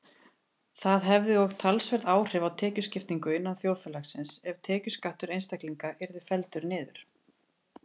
Það hefði og talsverð áhrif á tekjuskiptingu innan þjóðfélagsins ef tekjuskattur einstaklinga yrði felldur niður.